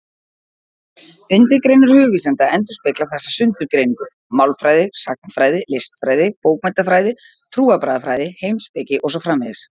Undirgreinar hugvísinda endurspegla þessa sundurgreiningu: málfræði, sagnfræði, listfræði, bókmenntafræði, trúarbragðafræði, heimspeki og svo framvegis.